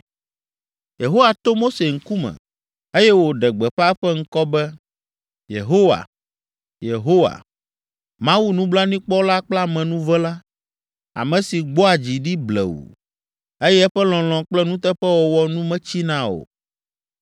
Yehowa to Mose ŋkume, eye wòɖe gbeƒã eƒe ŋkɔ be, “Yehowa, Yehowa, Mawu nublanuikpɔla kple amenuvela, ame si gbɔa dzi ɖi blewu, eye eƒe lɔlɔ̃ kple nuteƒewɔwɔ nu metsina o;